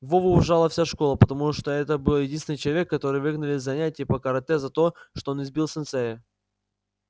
вову уважала вся школа потому что это был единственный человек который выгнали с занятий по карате за то что он избил сенсея